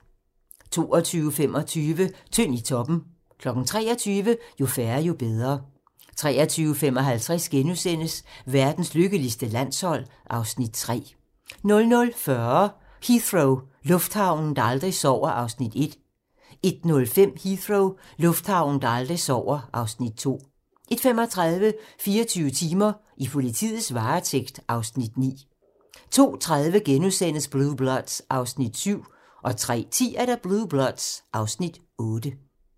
22:25: Tynd i toppen 23:00: Jo færre, jo bedre 23:55: Verdens lykkeligste landshold (Afs. 3)* 00:40: Heathrow - lufthavnen, der aldrig sover (Afs. 1) 01:05: Heathrow - lufthavnen, der aldrig sover (Afs. 2) 01:35: 24 timer: I politiets varetægt (Afs. 9) 02:30: Blue Bloods (Afs. 7)* 03:10: Blue Bloods (Afs. 8)